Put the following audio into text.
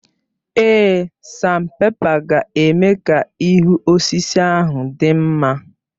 Èé, sanpèpa ga-eme ka ihu osisi ahụ dị mma.